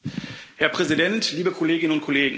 Herr Präsident, liebe Kolleginnen und Kollegen!